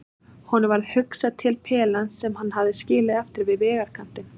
Honum varð hugsað til pelans sem hann hafði skilið eftir við vegarkantinn.